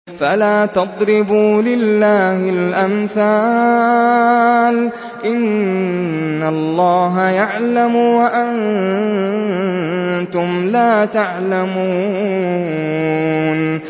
فَلَا تَضْرِبُوا لِلَّهِ الْأَمْثَالَ ۚ إِنَّ اللَّهَ يَعْلَمُ وَأَنتُمْ لَا تَعْلَمُونَ